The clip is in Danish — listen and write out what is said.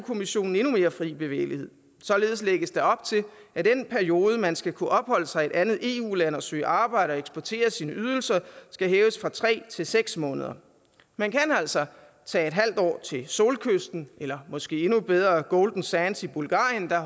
kommissionen endnu mere fri bevægelighed således lægges der op til at den periode hvori man skal kunne opholde sig i et andet eu land og søge arbejde skal hæves fra tre til seks måneder man kan altså tage en halv år til solkysten eller måske endnu bedre til golden sands i bulgarien hvor